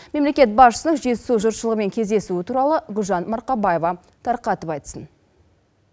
мемлекет басшысының жетісу жұртшылығымен кездесуі туралы гүлжан марқабаева тарқатып айтсын